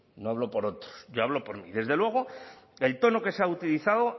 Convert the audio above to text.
no hablo por otros yo hablo por mí desde luego el tono que se ha utilizado